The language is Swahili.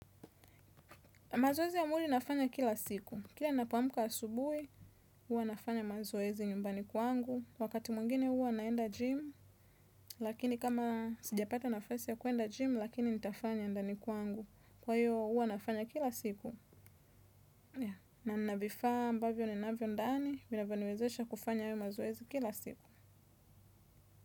Mazoezi ya mwili nafanya kila siku. Kila napoamka asubuhi, huwa nafanya mazoezi nyumbani kwangu. Wakati mwengine huwa naenda gym, lakini kama sijapata nafasi ya kuenda gym, lakini nitafanya ndani kwangu. Kwa hiyo, huwa nafanya kila siku. Na nina vifaa, ambavyo ninavyo ndani, vinavyoniwezesha kufanya mazoezi kila siku.